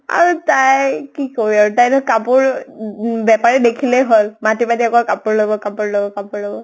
আৰু তাই, কি কʼবি আৰু। তাই নহয় কাপোৰ উম উম বেপাৰী দেখিলে হʼল। মাতি মাতি অকল কাপোৰ লʼব, কাপোৰ লʼব, কাপোৰ লʼব